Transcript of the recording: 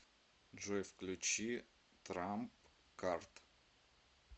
джой включи трамп кард